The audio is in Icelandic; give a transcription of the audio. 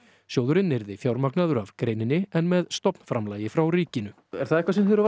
sjóðurinn yrði fjármagnaður af greininni en með stofnframlagi frá ríkinu er það eitthvað sem þér hefur